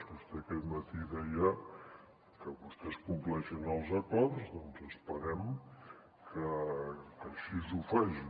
vostè aquest matí deia que vostès compleixen els acords doncs esperem que així ho facin